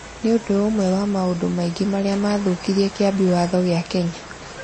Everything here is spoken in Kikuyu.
nĩ ũndũ ũmwe wa maũndũ maingĩ marĩa maathũũkirie Kĩambi Watho kĩa Kenya